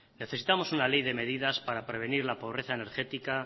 necesitamos una ley de medidas para prevenir la pobreza energética